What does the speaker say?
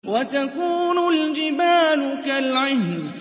وَتَكُونُ الْجِبَالُ كَالْعِهْنِ